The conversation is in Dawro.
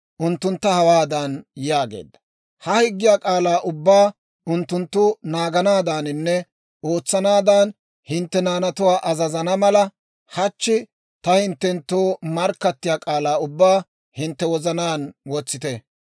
unttuntta hawaadan yaageedda; «Ha higgiyaa k'aalaa ubbaa unttunttu naaganaadaaninne ootsanaadan hintte naanatuwaa azazana mala, hachchi ta hinttenttoo markkattiyaa k'aalaa ubbaa hintte wozanaan wotsite.